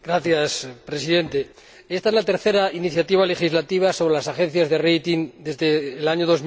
Señor Presidente, esta es la tercera iniciativa legislativa sobre las agencias de desde el año